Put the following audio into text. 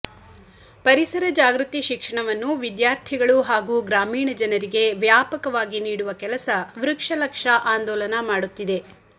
ಪರಿಸರ ಜಾಗೃತಿ ಶಿಕ್ಷಣವನ್ನು ವಿದ್ಯಾರ್ಥಿಗಳು ಹಾಗೂ ಗ್ರಾಮೀಣ ಜನರಿಗೆ ವ್ಯಾಪಕವಾಗಿ ನೀಡುವ ಕೆಲಸ ವೃಕ್ಷಲಕ್ಷ ಆಂದೋಲನ ಮಾಡುತ್ತಿದೆ